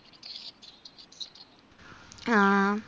ആ